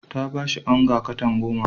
Ta ba shi onga katan goma.